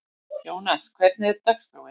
Jónar, hvernig er dagskráin?